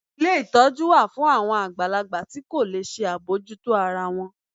Ilé ìtọ́jú wa fún awon àgbàlagbà ti ko le ṣe abojuto ara wọn mọ